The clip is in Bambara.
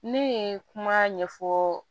Ne ye kuma ɲɛfɔ